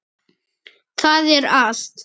Það er allt.